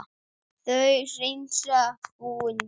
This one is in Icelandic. Þau hreinsa búin vel.